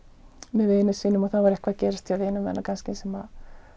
með vinum sínum og þá var eitthvað að gerast hjá vinum hennar kannski sem